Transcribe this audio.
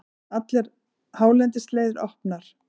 Allar hálendisleiðir opnar